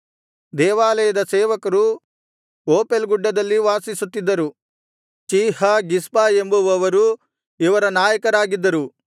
ದೇವಾಲಯದ ಸೇವಕರು ಓಪೇಲ್ ಗುಡ್ಡದಲ್ಲಿ ವಾಸಿಸುತ್ತಿದ್ದರು ಚೀಹ ಗಿಷ್ಪ ಎಂಬುವವರು ಇವರ ನಾಯಕರಾಗಿದ್ದರು